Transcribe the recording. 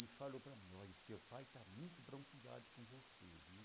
E falou para mim, olha, o seu pai está muito bronqueado com você, viu?